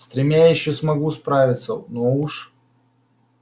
с тремя я ещё смогу управиться но уж